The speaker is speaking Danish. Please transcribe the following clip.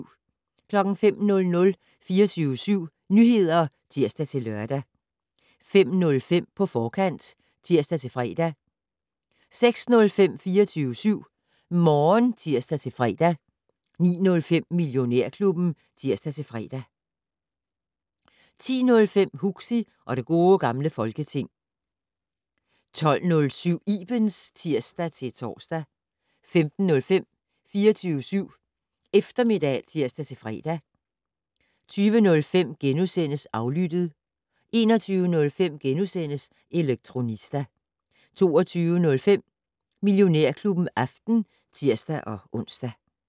05:00: 24syv Nyheder (tir-lør) 05:05: På forkant (tir-fre) 06:05: 24syv Morgen (tir-fre) 09:05: Millionærklubben (tir-fre) 10:05: Huxi og det gode gamle Folketing 12:07: Ibens (tir-tor) 15:05: 24syv Eftermiddag (tir-fre) 20:05: Aflyttet * 21:05: Elektronista * 22:05: Millionærklubben aften (tir-ons)